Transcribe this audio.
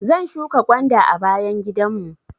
Zan shuƙa gwanda a bayan gidan mu.